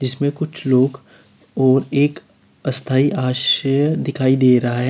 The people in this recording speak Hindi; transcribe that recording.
इसमें कुछ लोग और एक स्थायी आश्रय दिखाई दे रहा है।